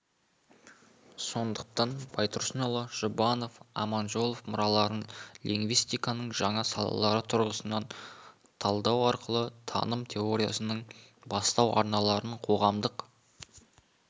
сондықтан байтұрсынұлы жұбанов аманжолов мұраларын лингвистиканың жаңа салалары тұрғысынан талдау арқылы таным теориясының бастау арналарын қоғамдық